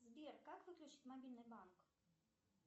сбер как выключить мобильный банк